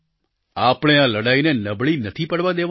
આપણે આ લડાઈને નબળી નથી પડવા દેવાની